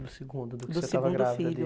Do segundo. Do segundo filho.